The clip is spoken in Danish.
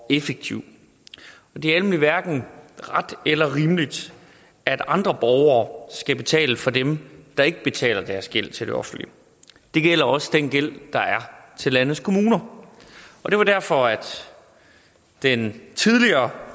og effektiv det er nemlig hverken ret eller rimeligt at andre borgere skal betale for dem der ikke betaler deres gæld til det offentlige og det gælder også den gæld der er til landets kommuner det var derfor at den tidligere